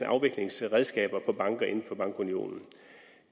afviklingsredskaber for banker inden for bankunionen